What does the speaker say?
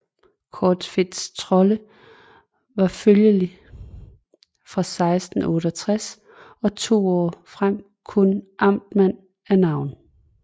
Corfitz Trolle var følgelig fra 1668 og to år frem kun amtmand af navn